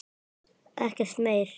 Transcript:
Ekkert meir.